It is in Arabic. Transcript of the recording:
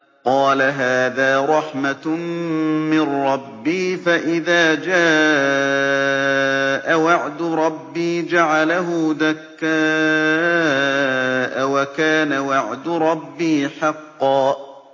قَالَ هَٰذَا رَحْمَةٌ مِّن رَّبِّي ۖ فَإِذَا جَاءَ وَعْدُ رَبِّي جَعَلَهُ دَكَّاءَ ۖ وَكَانَ وَعْدُ رَبِّي حَقًّا